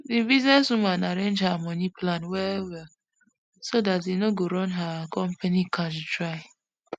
di business woman arrange her money plan well well so dat e no go run her company cash dry